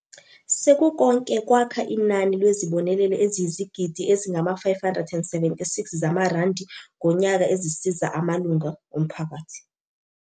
"Sekukonke kwakha inani lwezibonelelo eziyizigidi ezingama576 zamarandi ngonyaka ezisiza amalungu omphakathi."